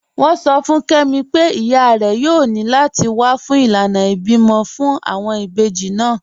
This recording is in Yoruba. Wọn sọ̀ fún Kẹmi pẹ̀ iyá rẹ̀ yòò ní láti wà fún ilànà ìbímọ̀ fún awọn ìbèjì wọn.